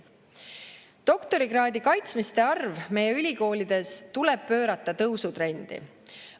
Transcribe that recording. Doktorikraadi kaitsmiste arv meie ülikoolides tuleb pöörata tõusutrendi.